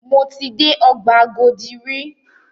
Mo ti dé ọgbà Agodi rí.